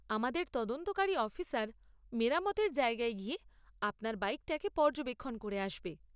আমাদের তদন্তকারী অফিসার মেরামতের জায়গায় গিয়ে আপনার বাইকটাকে পর্যবেক্ষণ করে আসবে।